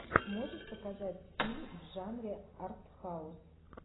можешь показать фильм в жанре арт хаус